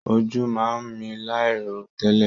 Ojú máa n mí láì ro tẹlẹ.